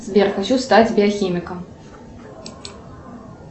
сбер хочу стать биохимиком